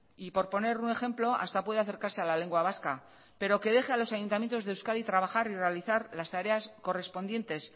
y por poner un ejemplo hasta puede acercarse a la lengua vasca pero que deje a los ayuntamientos de euskadi trabajar y realizar las tareas correspondientes